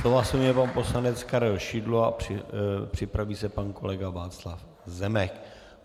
Slova se ujme pan poslanec Karel Šidlo a připraví se pan kolega Václav Zemek.